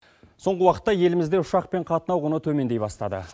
соңғы уақытта елімізде ұшақпен қатынау құны төмендей бастады